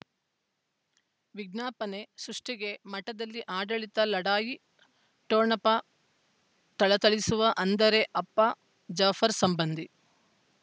ವಿಜ್ಞಾಪನೆ ಸೃಷ್ಟಿಗೆ ಮಠದಲ್ಲಿ ಆಡಳಿತ ಲಢಾಯಿ ಠೊಣಪ ಥಳಥಳಿಸುವ ಅಂದರೆ ಅಪ್ಪ ಜಾಫರ್ ಸಂಬಂಧಿ